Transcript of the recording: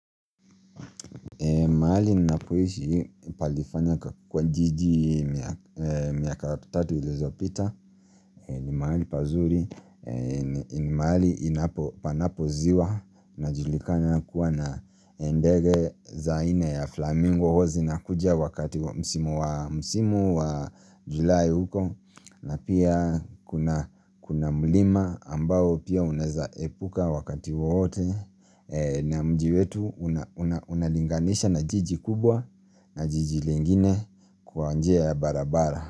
Maali ninapuishi palifanya kwa jiji miaka tatu ilizo pita ni maali pazuri ni maali inapo panapoziwa Najulikanya kuwa na endege zaine ya flamingo Hozi nakujia wakati msimu wa julae huko na pia kuna mlima ambao pia uneza epuka wakati wote na mji wetu unalinganisha na jiji kubwa na jiji lingine kwa anjea ya barabara.